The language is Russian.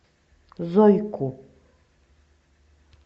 зойку